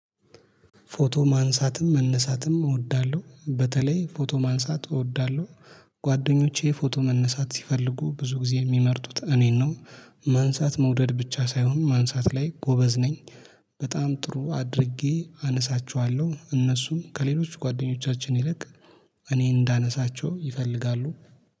ፎቶ ማንሳትም መነሳትም እወዳለሁ በተለይ ፎቶ ማንሳት እወዳለሁ ጓደኞቼ ፎቶ መነሳት ሲፈልጉ ብዙ ጊዜ የሚመርጡት እኔን ነው። ማንሳት መውደድ ብቻ ሳይሆን ማንሳት ላይ ጎበዝ ነኝ። በጣም ጥሩ አድርጌ አነሳቸዋለሁ እነሱም ከሌሎች ጓደኞቻችን ይልቅ እኔ እንዳነሳቸው ይፈልጋሉ